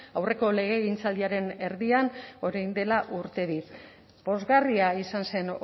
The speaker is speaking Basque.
aurreko legegintzaldiaren erdian orain dela urte bi pozgarria izan zen